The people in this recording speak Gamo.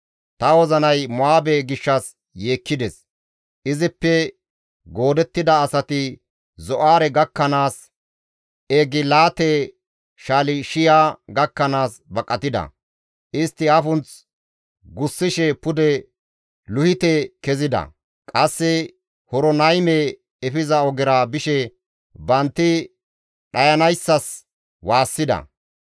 Ta wozinay Mo7aabe gishshas yeekkides; izippe goodettida asati Zo7aare gakkanaas, Egilaate-Shalishiya gakkanaas baqatida; istti afunth gussishe pude Luhite kezida; qasse Horonayme efiza ogera bishe bantti dhayanayssas waassida.